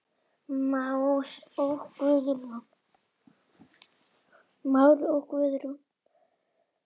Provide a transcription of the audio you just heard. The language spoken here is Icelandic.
Már og Guðrún.